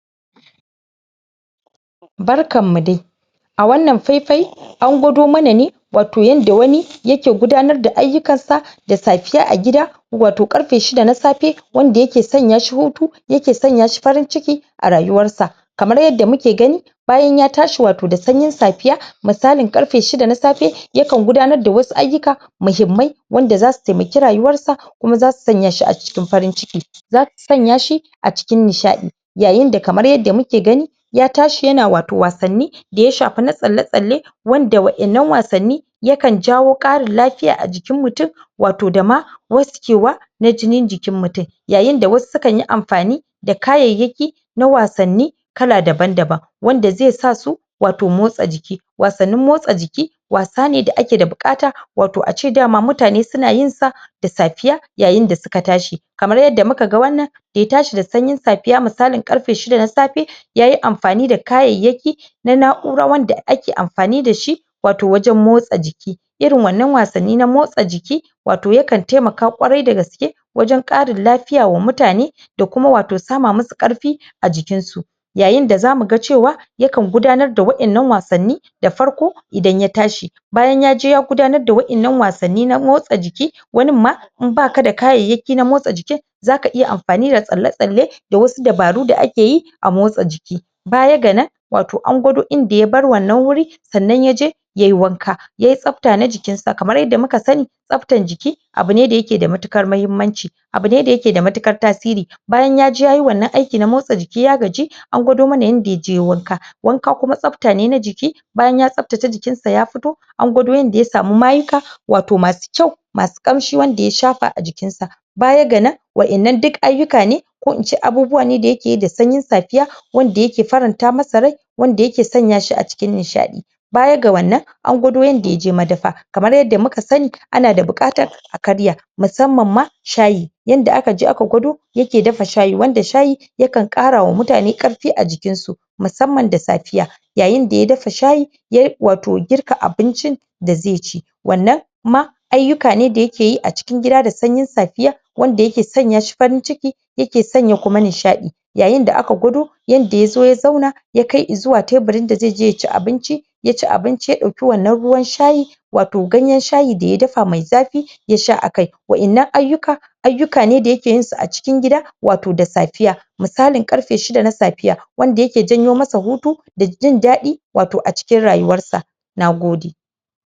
Barkan mu dai a wannan faifai an gwado mana ne wato yada wani ya ke gudanar da ayukan sa da safiya a gida wato garfe shida na safe wanda ya ke sanya shi hutu ya ke sanya shi farin ciki a rayuwar sa kamar yada muke gani bayan ya tashi, wato da sanyi safiya misalin garfe shida na safe ya kan gudanar da wasu ayuka mahimmai wanda za su taimake rayuwan sa kuma za su sanya shi a cikin farin ciki za su sanya shi a cikin nisha'i yayin da kamar yada muke gani ya tashi, ya na wato wasanni da ya shafa na tsale tsale wanda, wa'en nan wasanni ya kan jawo karin lafiya a jikin mutum wato da ma waske wa na jinin jikin mutum yayin da wasu su kan yi amfani da da kayayaki na na wasanni kala daban daban wanda zai sa su wato motsa jiki wasannin motsa jiki wasa ne da ake da bukata wato a ce dama, mutane su na yin sa da safiya yayin da suka tashi kamar yada mu ka gan wannan da ya tashi da sayin safiya, misalin karfe shida na safe yayi amfani da kayayaki na na'ura, wanda ake amfani da shi wato wajen motsa jiki irin wannan wasanni na motsa jiki wato ya kan taimaka, kwarai da aske wajen karin lafiya, wa mutane da kuma wato sama masu karfi a jikin su yayin da za mu gan cewa ya kan gudanar da wa'en nan wasanni da farko idan ya tashi bayan ya je ya gudanar da wa'en nan wasanni na motsa jiki wannin ma in baka da kayayaki na motsa jikin za ka iya amfani da tsale tsale da wasu dabaru, da ake yi a motsa jiki baya ga nan wato an gudo inda ya bar wannan wuri sannan ya je ya yi wanka ya yi tsapta na jikin sa, kamar yada mu ka sani tsaptan jiki abu ne, da ya ke da matukar mahimanci abu ne da ya ke da matukar tasiri bayan ya je ya yi wannan aiki na motsa jiki ya gaji an gwado mana, in da ya je wanka wanka kuma, tsapta ne na jiki bayan ya tsaptata jikin sa ya fito an gwado yada ya samu mayuka wato masu kyau masu kamshi wanda ya shafa a jikin sa baya ga nan wa'en nan duk ayuka ne ko in ce abubuwa ne, da ya ke yi da sanyin safiya wanda ya ke faranta masa rai wanda ya ke sanya shi a cikin nish'i baya ga wannan an gwado yada ya je madafa kamar yada muka sani ana da bukatar a karya masamman ma shayi yanda aka je aka gwado ya ke dafa shayi, wanda shayi ya kan kara wa mutane, karfi a jikin su masamman da safiya yayin da ya dafa shayi ya wato girka abincin da ze ci wannan ma ayuka ne, da ya ke yi a cikin gida, da sanyin safiya wanda ya ke sanya shi farin ciki ya ke sanya kuma nisha'i yayin da aka gwado yada ya zo ya zauna ya kai i zuwa taburin da zai je ya ci abinci ya ci abinci, ya dauka wannan ruwan shayin wato ganyen shayi da ya dafa mai zafi ya sha a kai wa'en nan ayuka ayuka ne, da ya ke yin su a cikin gida wato da safiya misalin karfe shida na safiya wanda ya ke janyo ma sa hutu da jin daddi wato a cikin rayuwar sa na gode